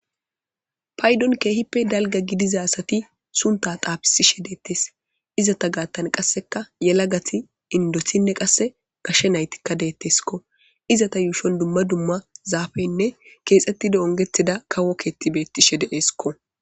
paydon keehippe dalga gidiza asati sunta taafisishe deettes izata gaattan qasseka yela gati indosinne qasse gashe naytikka deetteskko izata yuushon dumma dumma zaafeynne keexettido ongetida kawo keetti beettishe deeeskko